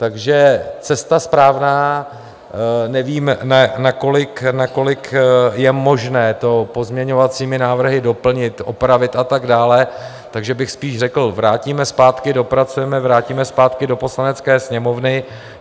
Takže cesta správná - nevíme, nakolik je možné to pozměňovacími návrhy doplnit, opravit a tak dále, takže bych spíš řekl: vrátíme zpátky, dopracujeme, vrátíme zpátky do Poslanecké sněmovny.